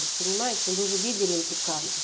понимаете вы же видели эти кадры